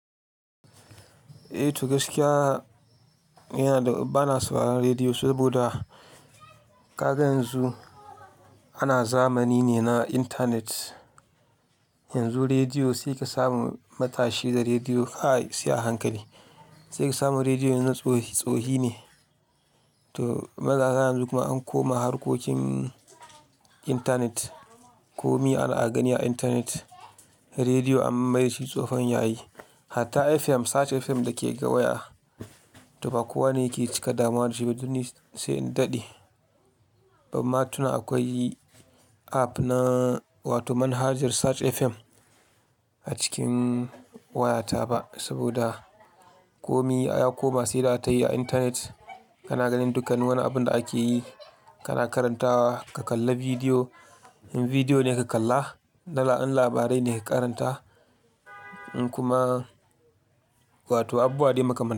Eh, to gaskiya yana da bana sauraron rediyo saboda ka ga yanzu ana zamani ne na intanet. Yanzu rediyo sai ka samu matashi da rediyo ai sai a hankali, sai ka samu rediyon na tsohi tsohi ne. To, matasa yanzu kuma an koma harkokin intanet. Komi ana gani a intanet, rediyo an mai shi tsofon yayi. Hatta FM, Search FM da ke gawaye, to ba kowane yake cika dama da shi ba, duk ni sai in daɗe. Bamma tuna akwai app na wato manhajar Search FM a cikin wayata ba saboda komi ya koma sai rataye a intanet. Kana ganin dukkan wani abun da ake yi, kana karantawa, ka kalla bidiyo, in bidiyo ne ka kalla, dala'an labarai ne ka karanta in kuma wato abubuwa waɗai muka makami.